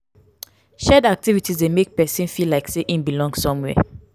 shared activities de make persin feel like say in belong somewhere